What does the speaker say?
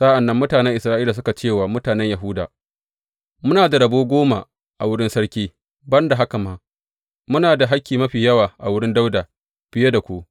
Sa’an nan mutanen Isra’ila suka ce wa mutanen Yahuda, Muna da rabo goma a wurin sarki; ban da haka ma, muna da hakki mafi yawa a wurin Dawuda fiye da ku.